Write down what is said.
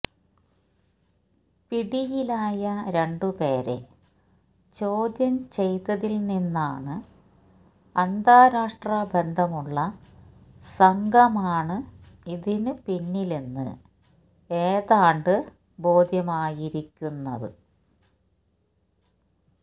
പിടിയിലായ രണ്ടു പേരെ ചോദ്യം ചെയ്തതിൽനിന്നാണ് അന്താരാഷ്ട്ര ബന്ധമുള്ള സംഘമാണ് ഇതിനു പിന്നിലെന്ന് ഏതാണ്ട് ബോധ്യമായിരിക്കുന്നത്